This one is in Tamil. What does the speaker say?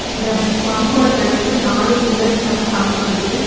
இந்த பங்க்கோட தடுப்பு நாலு பில்லர்ஸ்னால தாங்கப்படுது.